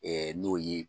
n'o ye